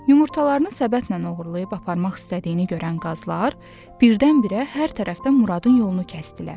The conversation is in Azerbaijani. Yumurtalarını səbətlə oğurlayıb aparmaq istədiyini görən qazlar birdən-birə hər tərəfdən Muradın yolunu kəsdilər.